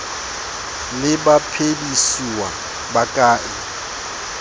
le baphedisuwa ba ka e